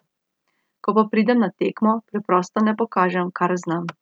Ko pa pridem na tekmo, preprosto ne pokažem, kar znam.